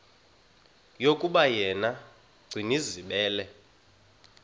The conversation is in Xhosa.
yokuba yena gcinizibele